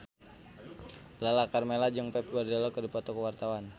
Lala Karmela jeung Pep Guardiola keur dipoto ku wartawan